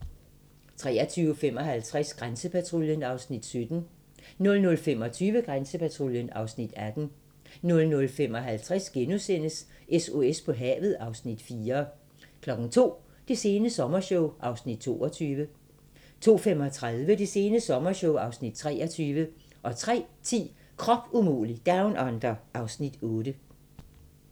23:55: Grænsepatruljen (Afs. 17) 00:25: Grænsepatruljen (Afs. 18) 00:55: SOS på havet (Afs. 4)* 02:00: Det sene sommershow (Afs. 22) 02:35: Det sene sommershow (Afs. 23) 03:10: Krop umulig Down Under (Afs. 8)